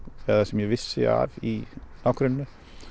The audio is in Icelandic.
eða sem ég vissi af í nágrenninu